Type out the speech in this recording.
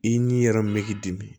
I n'i yɛrɛ me k'i dimi